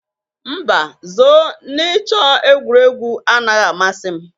Mba, zoo na ịchọ egwuregwu anaghị amasị m.